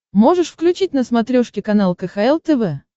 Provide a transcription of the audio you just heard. можешь включить на смотрешке канал кхл тв